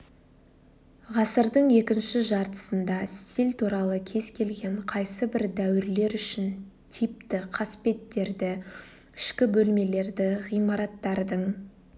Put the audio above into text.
ғасырдың екінші жартысында стиль туралы кез келген қайсы бір дәуірлер үшін типті қасбеттерді ішкі бөлмелерді ғимараттардың